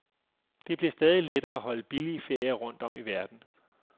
Det bliver stadig lettere at holde billige ferier rundt om i verden.